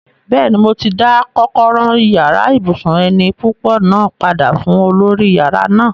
Bẹ́ẹ̀ni, mo ti dá kọ́kọ́rọ́ yàrá ibùsùn eni púpọ̀ náà padà fún olórí yàrá náà